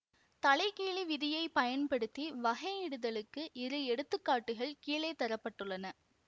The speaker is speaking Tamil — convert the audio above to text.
தலை கீழி விதியைப் பயன்படுத்தி வகையிடுதலுக்கு இரு எடுத்து காட்டுகள் கீழே தர பட்டுள்ளன